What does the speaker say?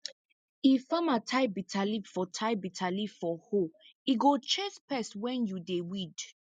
if farmer tie bitterleaf for tie bitterleaf for hoe e go chase pest when you dey weed